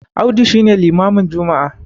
Audu shi ne limamin Juma'a